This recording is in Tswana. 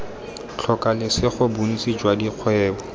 tlhoka lesego bontsi jwa dikgwebo